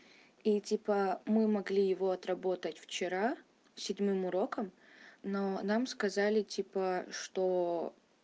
и типа мы могли его отработать вчера седьмым уроком но нам сказали типа что